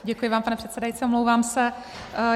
Děkuji vám, pane předsedající, omlouvám se.